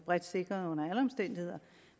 bredt sikret under alle omstændigheder